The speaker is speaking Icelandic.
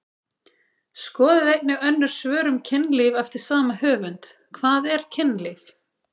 Skoðið einnig önnur svör um kynlíf eftir sama höfund: Hvað er kynlíf?